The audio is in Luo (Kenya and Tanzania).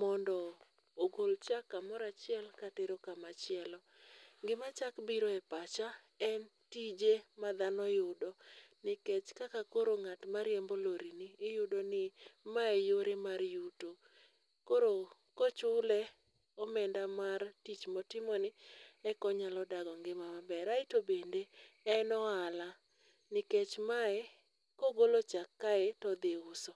mondo ogol chak kamoro achiel katero kamachielo. Gima chak biro e pacha en tije madhano yudo nikech kaka koro ng'at mariembo lori ni iyudo ni mae e yore mar yuto. Koro kochule omenda mar tich motimoni eka onyalo dago ngima maber. Aeto bende en ohala. Nikech mae kogolo chak kae to odhi uso.